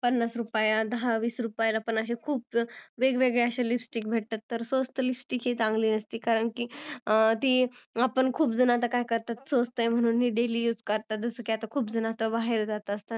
पन्नास रुपये, दहा वीस रुपये मध्ये सुद्धा खुप वेगवेगळ्या अश्या lipsticks मिळतात तर स्वस्त lipsticks ही चांगली नसते करणी आपण खुप जण आता काय करतो स्वस्त आहे म्हणून daily use करतो जस की आता खुप जण बाहेर जात असतात